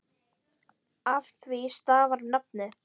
Af því stafar nafnið.